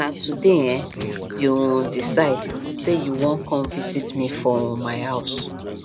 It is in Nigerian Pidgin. um Make you na no no forget to check um traffic update before una move